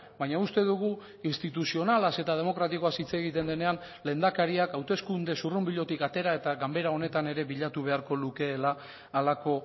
baina uste dugu instituzionalaz eta demokratikoaz hitz egiten denean lehendakariak hauteskunde zurrunbilotik atera eta ganbera honetan ere bilatu beharko lukeela halako